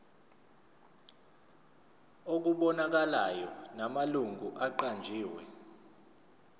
okubonakalayo namalungu aqanjiwe